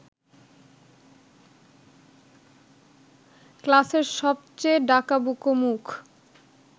ক্লাসের সবচেয়ে ডাকাবুকো মুখ